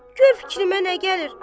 Vallah gör fikrimə nə gəlir.